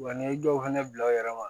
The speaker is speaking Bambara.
Wa n'i ye dɔw fɛnɛ bila u yɛrɛ ma